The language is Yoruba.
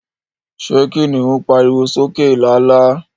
Ṣé kiniun pariwo sókè lálá?